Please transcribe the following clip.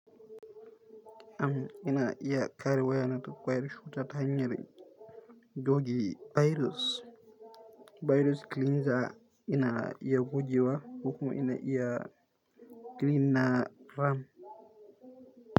Am ina iya kare wayana daga kwayar cutar ta hanyar goge virus. Virus kilinza ina iya goge wa, kuma ina iya kilinna ram.